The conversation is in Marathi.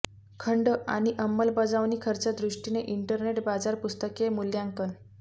खंड आणि अंमलबजावणी खर्च दृष्टीने इंटरनेट बाजार पुस्तके मूल्यांकन